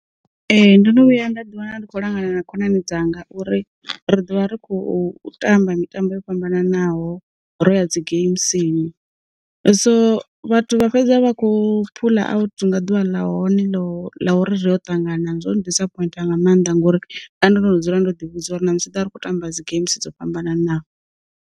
Ee ndo no vhuya nda ḓi wana ndi kho langana na khonani dzanga uri ri dovha ri kho u tamba mitambo yo fhambananaho ro ya dzi geimisini, so vhathu vha fhedzwa vha kho phula out nga ḓuvha ḽa hone lo la uri ro ṱangana zwo disappointa nga maanḓa ngori ndo no dzula ndo ḓi vhudza uri na musi ḓa ri kho tamba dzi geimsi dzo fhambananaho.